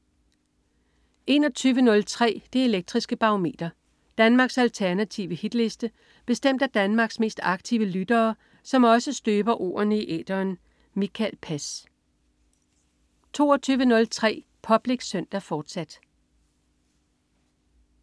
21.03 Det Elektriske Barometer. Danmarks alternative hitliste bestemt af Danmarks mest aktive lyttere, som også støber ordene i æteren. Mikael Pass 22.03 Public Søndag, fortsat